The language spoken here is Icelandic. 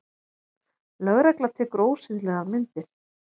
Lögregla tekur ósiðlegar myndir